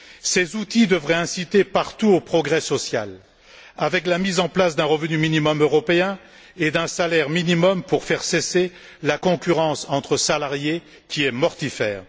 Ces outils devraient inciter partout au progrès social avec la mise en place d'un revenu minimum européen et d'un salaire minimum pour faire cesser la concurrence entre salariés qui est mortifère.